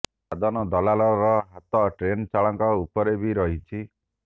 ଦାଦନ ଦଲାଲର ହାତ ଟ୍ରେନ ଚାଳକ ଉପରେ ବି ରହିଛି